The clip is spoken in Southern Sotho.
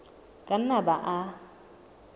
ka nna a ba le